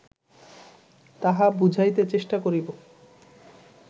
তাহা বুঝাইতে চেষ্টা করিব